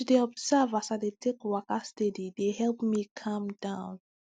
to dey observe as i dey take waka steady dey help me calm down